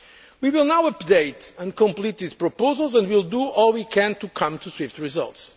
We will now update and complete these proposals and we will do all we can to achieve swift results.